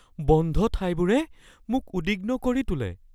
বন্ধ ঠাইবোৰে মোক উদ্বিগ্ন কৰি তোলে